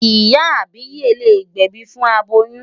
Ìyá àbíyè lè gbẹ̀bi fún aboyún.